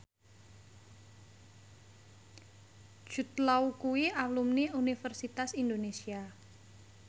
Jude Law kuwi alumni Universitas Indonesia